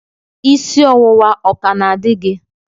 Isi ọwụwa ọ ka na-adị gị?